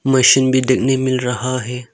Machine भी देखने मिल रहा है।